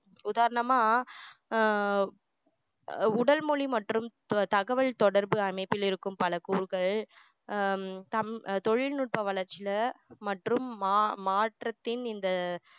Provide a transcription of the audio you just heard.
உதாரணமா ஆஹ் அஹ் உடல்மொழி மற்றும் தகவல் தொடர்பு அமைப்பில் இருக்கும் பல கூறுகள் ஆஹ் தம் தொழில்நுட்ப வளர்ச்சில மற்றும் மா~ மாற்றத்தின் இந்த